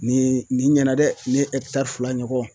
Nin nin ɲɛna dɛ ne ye ɛkitari fila ɲɔgɔn